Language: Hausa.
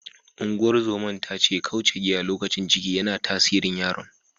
Ungozoman ta ce kauce giya lokacin ciki, yana tasirin yaron.